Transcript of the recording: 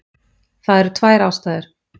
Það eru tvær ástæður.